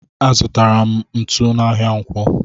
Azutara m ntụ n'ahia ǹkwọ.